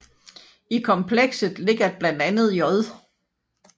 I komplekset ligger blandt andet J